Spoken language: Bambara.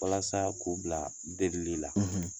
Walasa k'u bila delili la